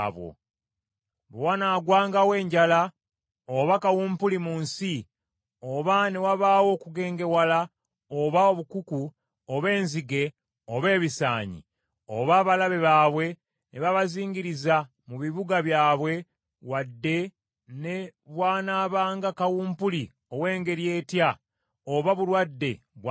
“Bwe wanaagwangawo enjala oba kawumpuli mu nsi, oba ne wabaawo okugengewala oba obukuku, oba enzige oba ebisaanyi, oba abalabe baabwe ne babazingiriza mu bibuga byabwe wadde ne bw’anaabanga kawumpuli ow’engeri etya, oba bulwadde bwa ngeri ki,